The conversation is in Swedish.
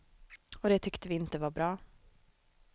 Och det tyckte vi inte var bra.